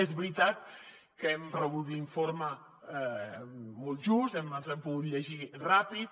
és veritat que hem rebut l’informe molt just ens l’hem pogut llegir ràpid